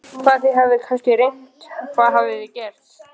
Hvað, þið hafið kannski reynt, hvað hafið þið gert?